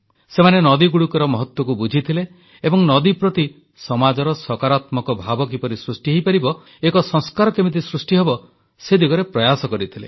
ସେମାନେ ନଦୀଗୁଡ଼ିକର ମହତ୍ୱକୁ ବୁଝିଥିଲେ ଏବଂ ନଦୀ ପ୍ରତି ସମାଜର ସକାରାତ୍ମକ ଭାବ କିପରି ସୃଷ୍ଟି ହେବ ଏକ ସଂସ୍କାର କେମିତି ସୃଷ୍ଟିହେବ ସେ ଦିଗରେ ପ୍ରୟାସ କରିଥିଲେ